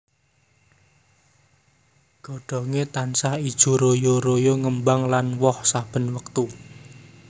Godhonge tansah ijo royo royo ngembang lan woh saben wektu